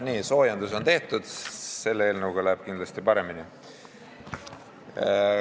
Nii, soojendus on tehtud, selle eelnõuga läheb kindlasti paremini.